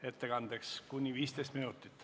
Ettekandeks on kuni 15 minutit.